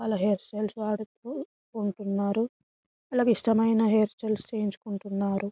hairstyles వాడుతూ ఉంటున్నారు అలాగే ఇష్టమైన హైర్సటైల్స్ చేయించుకుంటున్నారు --